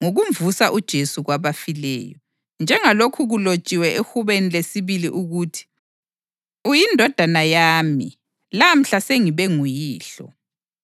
ngokumvusa uJesu kwabafileyo. Njengalokhu kulotshiwe eHubeni lesibili ukuthi: ‘UyiNdodana yami; lamhla sengibe nguYihlo.’ + 13.33 AmaHubo 2.7